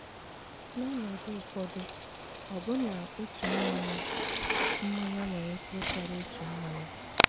N'ọnọdụ ụfọdụ, ọbụna otu mmanya mmanya nwere ike ịkarị otu mmanya.